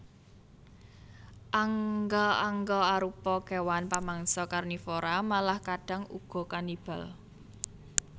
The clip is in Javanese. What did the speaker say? Angga angga arupa kéwan pamangsa karnivora malah kadhang uga kanibal